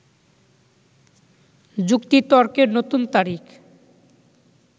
যুক্তিতর্কে নতুন তারিখ